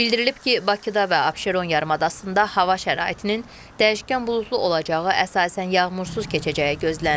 Bildirilib ki, Bakıda və Abşeron yarımadasında hava şəraitinin dəyişkən buludlu olacağı, əsasən yağmursuz keçəcəyi gözlənilir.